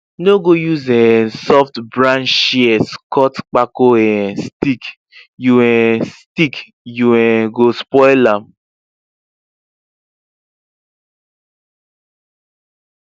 no go use um softbranch shears cut kpako um stick you um stick you um go spoil am